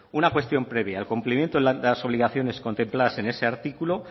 una cuestión previa el cumplimiento de las obligaciones contempladas en ese artículo